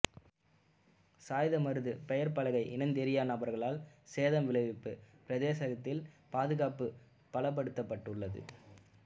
சாய்ந்தமருது பெயர்ப்பலகை இனந்தெரியா நபர்களினால் சேதம் விளைவிப்பு பிரதேசத்தில் பாதுகாப்பு பலப்படுத்தப்பட்டுள்ளது